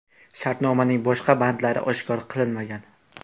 Shartnomaning boshqa bandlari oshkor qilinmagan.